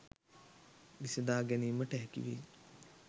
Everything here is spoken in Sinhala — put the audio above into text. විසඳා ගැනීමට හැකිවේ.